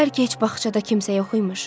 Bəlkə heç bağçada kimsə yox imiş.